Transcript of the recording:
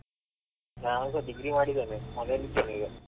ನಾನುಸ degree ಮಾಡಿದ್ದೇನೆ ಮನೇಲ್ ಇದ್ದೇನೆ ಈಗ .